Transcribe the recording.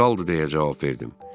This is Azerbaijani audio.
Saldır, deyə cavab verdim.